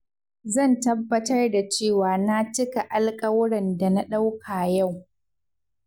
Zan tabbatar da cewa na cika alkawuran da na dauka yau.